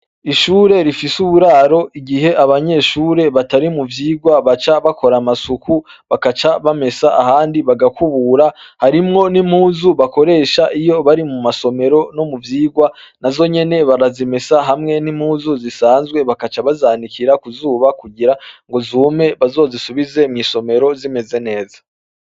Ishure rifise uburaro, igihe abanyeshure batari mu vyigwa baca bakora amasuku bakaca bamesa ahandi bagakubura, harimwo n'impuzu bakoresha iyo bari mu masomero no mu vyigwa, nazo nyene barazimesa hamwe n'impuzu zisanzwe, bakaca bazanikira kuzuba kugira zume bazozisubize mw'isomero zimeze neza.